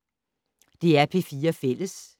DR P4 Fælles